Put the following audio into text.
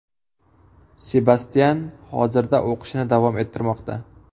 Sebastyan hozirda o‘qishini davom ettirmoqda.